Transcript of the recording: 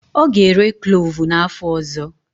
Ọ ga-ere klovu n'afọ ọzọ.